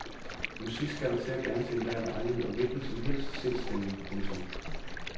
Musik skal der til og gerne til enhver lejlighed og hvilken som helst sindsstemning. punktum